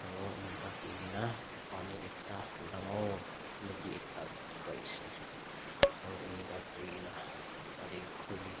aro enika kurikena pani ekta dangor naudi ekta dekhe pai ase aro enika kurikena tatey khuri--